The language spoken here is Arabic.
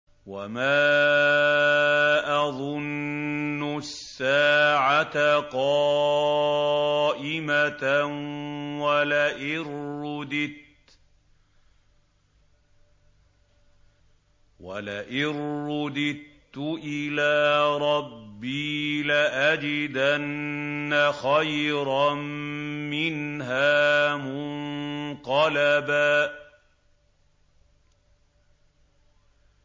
وَمَا أَظُنُّ السَّاعَةَ قَائِمَةً وَلَئِن رُّدِدتُّ إِلَىٰ رَبِّي لَأَجِدَنَّ خَيْرًا مِّنْهَا مُنقَلَبًا